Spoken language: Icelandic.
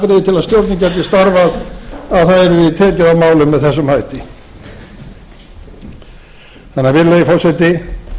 að stjórnin gæti starfað að tekið yrði á málum með þessum hætti virðulegi forseti